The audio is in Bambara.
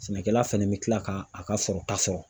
Sɛnɛkɛla fɛnɛ bɛ kila k'a ka sɔrɔta sɔrɔ.